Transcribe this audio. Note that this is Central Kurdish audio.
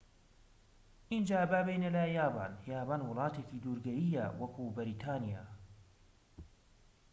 ئینجا با بێینە لای یابان یابان وڵاتێکی دورگەییە وەکو بەریتانیا